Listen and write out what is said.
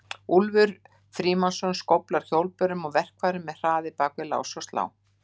Úlfur Frímannsson skóflar hjólbörum og verkfærum með hraði bak við lás og slá.